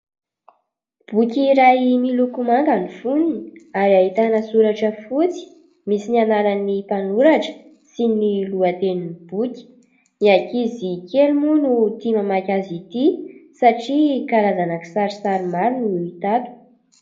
Boky iray miloko manga ny fonony ary ahitana soratra fotsy misy ny anarany mpanoratra sy ny lohatenin'ny boky. Ny ankizy kely moa no tia mamaky azy ity satria karazana kisarisary maro no hita ato.